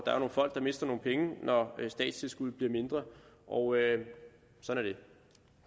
folk der mister nogle penge når statstilskuddet bliver mindre og sådan